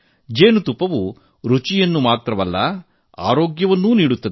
ಜೇನುತುಪ್ಪವು ರುಚಿ ಮಾತ್ರವಲ್ಲ ಆರೋಗ್ಯವನ್ನೂ ನೀಡುತ್ತದೆ